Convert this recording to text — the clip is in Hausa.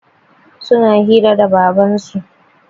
Suna hira da Babansu.